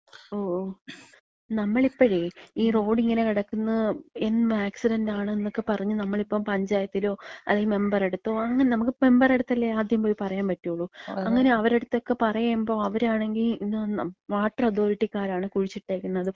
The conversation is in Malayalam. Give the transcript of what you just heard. ഓ ഓ. നമ്മളിപ്പഴേ, ഈ റോഡിങ്ങനെ കെടക്ക്ന്നെ എന്നും ആക്സിഡന്റാണ്ന്നൊക്കെ പറഞ്ഞ് നമ്മളിപ്പം പഞ്ചായത്തിലോ അല്ലെങ്കില്‍ മെമ്പറ്ട്ത്തോ അങ്ങനെ നമ്മക്ക് മെമ്പറട്ത്തല്ലേ ആദ്യം പോയി പറയാൻ പറ്റ്ള്ളൂ. അങ്ങനെ അവരട്ത്തൊക്കെ പറയ്മ്പഴ് അവരാണെങ്കി എന്നാ, വാട്ടർ അതോറിറ്റികാരാണ് കുഴിച്ചിട്ടേക്ക്ന്നത്,